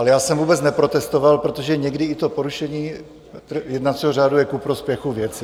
Ale já jsem vůbec neprotestoval, protože někdy i to porušení jednacího řádu je ku prospěchu věci.